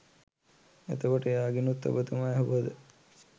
එතකොට එයාගෙනුත් ඔබතුමා ඇහුවද